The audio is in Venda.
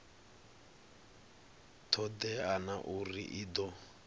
todea na uri i do